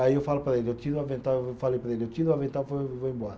Aí eu falo para ele, eu tiro o avental, eu falei para ele, eu tiro o avental e vou e vou embora.